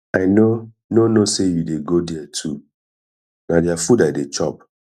i no no know say you dey go there too na their food i dey chop